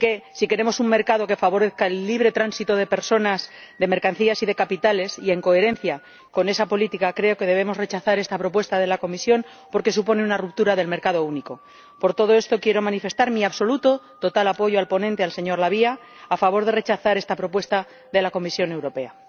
Si queremos un mercado que favorezca el libre tránsito de personas, de mercancías y de capitales, y en coherencia con esa política, creo que debemos rechazar esta propuesta de la Comisión, porque supone una ruptura del mercado único. Por todo esto, quiero manifestar mi absoluto, total apoyo al ponente, señor La Via, a favor de rechazar esta propuesta de la Comisión Europea.